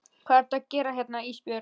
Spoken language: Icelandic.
Hvað ertu að gera hérna Ísbjörg?